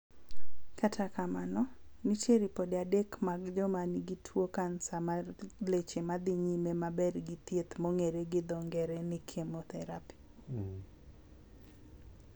Kata kamano, nitie ripode adek mag joma nigi tuo kansa mar leche madhi nyime maber gi thiedh mong'ere gi dho ng'ere ni chemotherapy